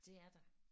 Det er der